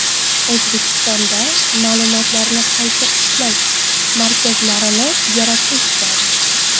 O‘zbekistonda ma’lumotlarni qayta ishlash markazlarini yaratish zarur.